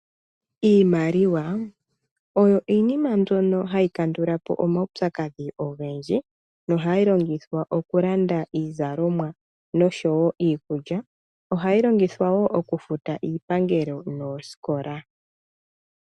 Iimaliwa oyo iinima mbyono hayi kandula po omaupyakadhi ogendji nohayi longithwa okulanda iizalomwa nosho iikulya ohayi longithwa wo okufuta iipangelo noosikola.